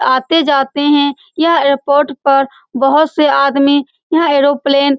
आते जाते हैं यह एयरपोर्ट पर बहुत से आदमी यह एरोप्लेन --